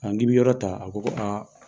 A k'i bi yɔrɔ ta ? A ko ko